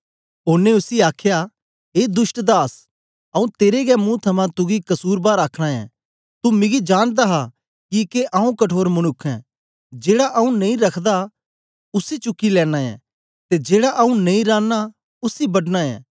ओनें उसी आखया ए दुष्ट दास आऊँ तेरे गै मुंह थमां तुगी कसुरबार आखना ऐं तू मिगी जानदा हा किके आऊँ कठोर मनुक्ख ऐं जेड़ा आऊँ नेई रखदा उसी चुकी लेना ऐं ते जेड़ा आऊँ नेई रांना उसी बड्डना ऐं